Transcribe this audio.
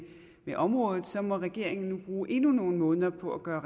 området må regeringen nu bruge endnu nogle måneder på at gøre